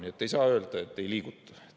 Nii et ei saa öelda, et ei liiguta.